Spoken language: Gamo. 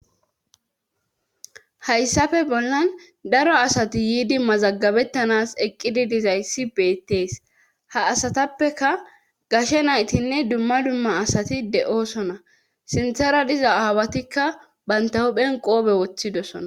Hayssafe bollan daro asati yiidi mazagabettanas eqqidi dizayssi beettees ha asatappeka gashe naytinne dumma dumma asati de7oosona sinthera diza aawatikka banta huphen qoobe woththidosona.